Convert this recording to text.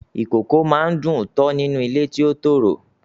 Ìkókó a máa dùn-ún tọ́ nínú ilé ti ó tòrò